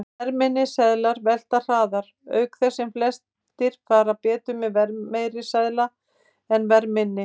Verðminni seðlar velta hraðar, auk þess sem flestir fara betur með verðmeiri seðil en verðminni.